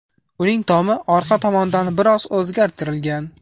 Uning tomi orqa tomondan biroz o‘zgartirilgan.